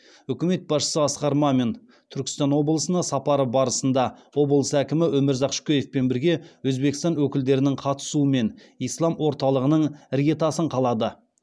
үкімет басшысы асқар мамин түркістан облысына сапары барысында облыс әкімі өмірзақ шөкеевпен бірге өзбекстан өкілдерінің қатысуымен ислам орталығының іргетасын қалады